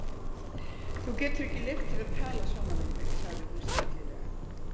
Þú getur ekki leyft þér að tala svona við mig, sagði hún stillilega.